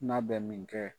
N'a bɛ min kɛ